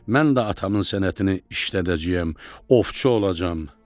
Mən də atamın sənətini işlədəcəyəm, ovçu olacağam.